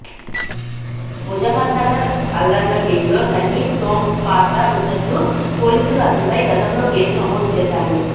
ముజఫర్నగర్ అల్లర్ల కేసులో సంగీత్ సోమ్ పాత్ర ఉన్నట్లు పోలీసులు అతనిపై గతంలో కేసు నమోదు చేశారు